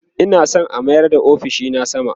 Ina San a mayar da ofishina sama